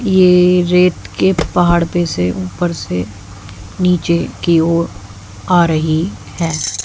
ये रेत के पहाड़ पे से ऊपर से नीचे की ओर आ रही है।